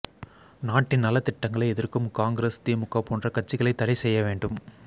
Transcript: நாட்டின் நலத்திட்டங்களை எதிர்க்கும் காங்ரஸ் திமுக போன்ற கட்சிகளை தடை செய்ய வேண்டும்